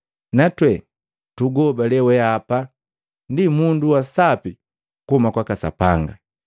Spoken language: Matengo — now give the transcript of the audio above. Natwe tuguhobale weapa ndi mundu wa Sapi kuhuma kwaka Sapanga.”